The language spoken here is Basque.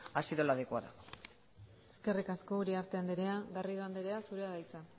ha sido la adecuada eskerrik asko uriarte andrea garrido andrea zurea da hitza